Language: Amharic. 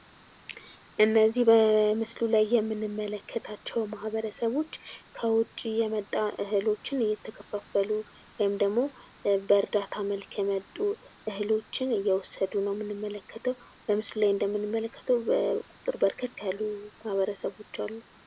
እነዚህ በምስሉ ላይ የምንመለከታቸው ማህበረሰቦች ከውጪ የመጣ እህሎችን እየተከፋፈሉ ወይም ደግሞ በእርዳታ መልክ የመጡ እህሎችን እየወሰዱ ነው ምንመለከተው። በምስሉ ላይ እንደምንመለከተው በርከት ያሉ ማህበረሰቦች አሉ።